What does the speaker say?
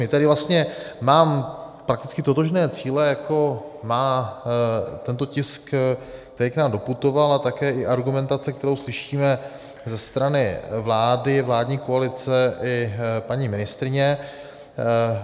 Tedy vlastně mám prakticky totožné cíle, jako má tento tisk, který k nám doputoval, a také i argumentace, kterou slyšíme ze strany vlády, vládní koalice i paní ministryně.